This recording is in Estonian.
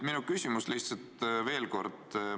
Esitan lihtsalt veel kord oma küsimuse.